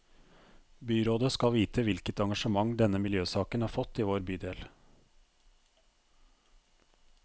Byrådet skal vite hvilket engasjement denne miljøsaken har fått i vår bydel.